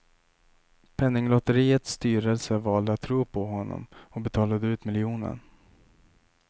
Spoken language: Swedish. Penninglotteriets styrelse valde att tro på honom och betalade ut miljonen.